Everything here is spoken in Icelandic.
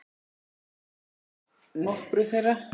Í það minnsta nokkrum þeirra.